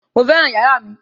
Mo fẹ́ràn yàrá mi